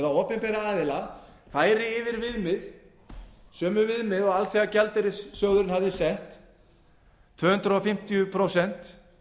opinberra aðila færi yfir viðmið sömu viðmið og alþjóðagjaldeyrissjóðurinn hafði sett tvö hundruð fimmtíu prósent